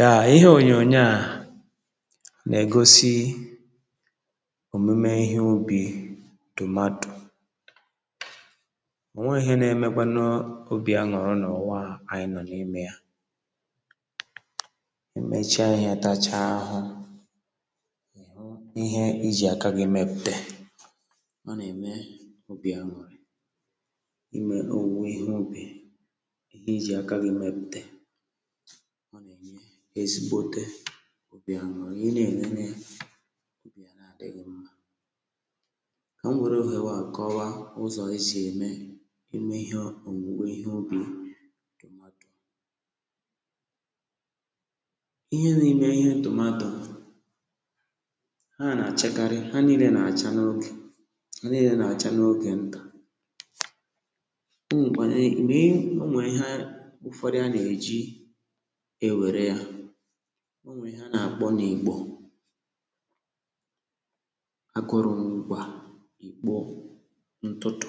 ya, ihe onyo-onye a na-egosi omume ihe ubi dụmatụ onwe ihe na-emekwanụ obi aṅụrụ n’ụwa anyị nọ n’ime ya emechaa ihe tachaa ahụ ihe iji aka gị mepụta ọ na-enye ezigbote obi ya nwụrụ ihe na-enye obi ya na-adịghị mma ka m were ohere a kọwaa ụzọ e si eme ime ihe owuwe ihe obi ihe na-ime ihe tomato ha na-achakarị ha niile na-acha n’oge ha niile na-acha n’oge nta ewere ya o nwere ihe a na-akpọ na igbo akụrụmgwa ikpoo ntụtụ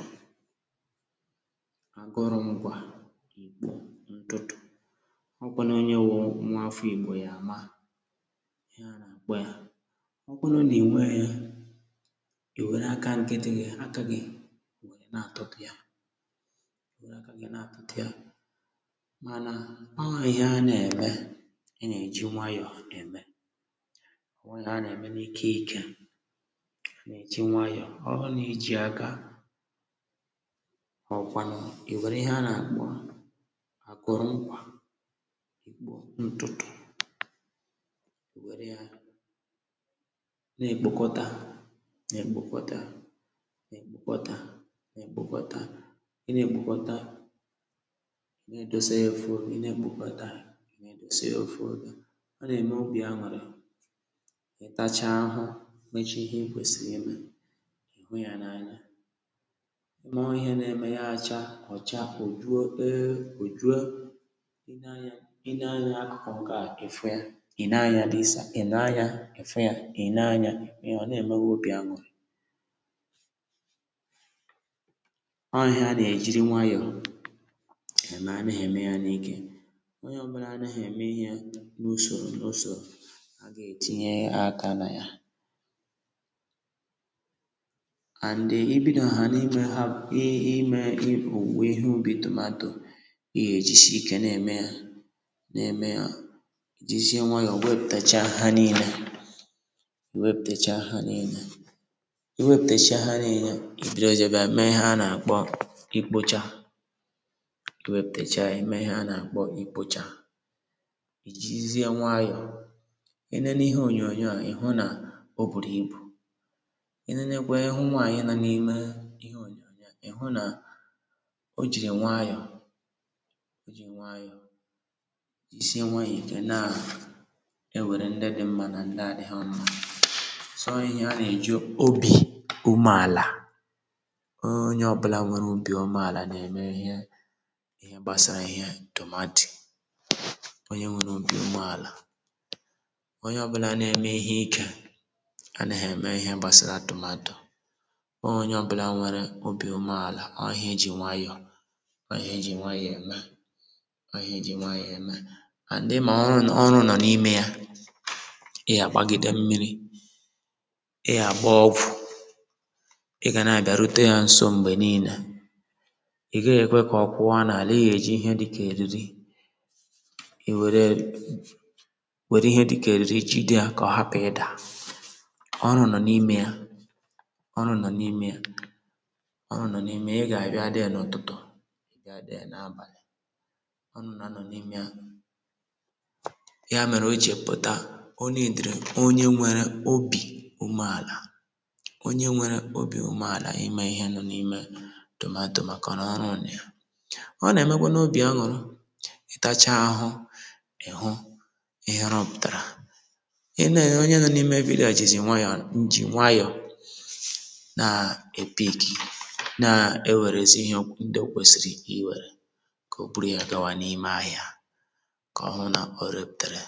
akụrụmgwa ikpọ ntụtụ ọkwanụ onye wụ nwaafọ igbo ya ama ihe a na-akpọ ya ọkwanụ na-enweghị ya iwere aka nkịtịghị aka gị na-atụtụ ya ọ bụ ihe a na-eme ị na-eji nwayọ na-eme ọ nwụna a na-eme n’ike ike na-eji nwayọ ọ bụ na i ji aga ọ kwanụ, i were ihe a na-akpọ akpụrụmkwa ikpo ntụtụ na-ekpokọta na-ekpokọta na-ekpokọta na-ekpokọta ị na-ekpokọta ihe na-emeghe taa si ofu oge ọ na-eme obi aṅụrị ịtacha ahụhụ mechaa ihe i kwesiri ime ihe na-anya ime ọ ihe na-eme ya acha kọcha hu juo ee o juo i na-anya akụkọ ọkọ ha ịfụ ya i na-anya disa i na-anya ịfụ ya i na-anya� ọ na-eme obi aṅụrị ọ ihe a na-ejiri nwayọ onye ọbụla na-eme ihe n’usoro n’usoro a ga-etinye aka na ya ijirizie nwayọ i nene ihe onyoonyo a, ị hụ na o bùrù ibù i nenekwe nwaanyị nȧ n’ime ị hụ nà o jìrì nwayọ isi nweihi keanaa ewere ndị dị mmȧ nà ndị adịghị mmȧ sọọ ihe a nà-èju obi umeàlà ọọ onye ọbụla nwere obi umeàlà nà-èmerihe onye nwere obi umeala onye ọbụla na-eme ihe ike anaghị eme ihe gbasara tomato onye ọbụla nwere obi umeala ọ ihe eji nwayọọ ọ ihe eji nwayọọ eme ọ ihe eji nwayọọ eme and ị ma ọrụ nọ n’ime ya ị ya-agbagide mmiri ị ya-agba ọgwụ ị ga na-agarute ya nso mgbe niile ihe ga-ekwe ka ọ kwụwa n’ala, ị ya-eji ihe dịka eriri i were were ihe dịka eriri jide ya ka ọ hapụ ịda ọrụ nọ n’ime ya ọrụ nọ n’ime ya ọrụ nọ n’ime ya ị ga-abịa dị ya n’ụtụtụ abịa adịghị n’abalị ọrụ nọ n’ime ya ya mere o ji pụta ọ n’itiri onye nwere obi umeala onye nwere obi umeala ime ihe nọ n’ime ya dòma à dòma kà ọ nà ọrụ nà ya ọ nà emekwa n’obì aṅụrụ ihere butara i ne onye nù n’ime vidiyo jì nwayọ njì nwayọ na-epiiki, na-ewerezi ihe ndị o kwesịrị iwere ka o buru ya gawa n’ime ahịa ka ọhụụ na ọ reputere